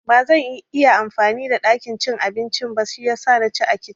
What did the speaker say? Bazan iya amfani da ɗakin cin abincin ba shiyasa na ci a kicin